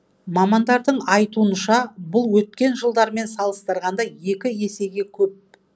мамандардың айтуынша бұл өткен жылдармен салыстырғанда екі есеге көп